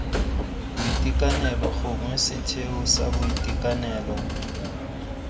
boitekanelo gongwe setheo sa boitekanelo